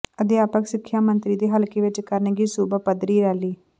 ਅਧਿਆਪਕ ਸਿੱਖਿਆ ਮੰਤਰੀ ਦੇ ਹਲਕੇ ਵਿੱਚ ਕਰਨਗੇ ਸੂਬਾ ਪੱਧਰੀ ਰੈਲੀ